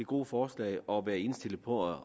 gode forslag og være indstillet på at